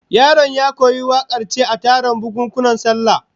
Yaron ya koyi wakar ce a taron bukunkunan sallah